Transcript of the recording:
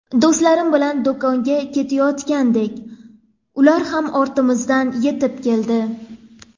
Do‘stlarim bilan do‘konga ketayotgandik, ular ham ortimizdan yetib keldi.